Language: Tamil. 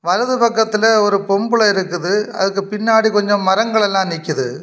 வலது பக்கத்துல ஒரு பொம்பள இருக்குது அதுக்கு பின்னாடி கொஞ்சம் மரங்கள் எல்லாம் நிக்குது.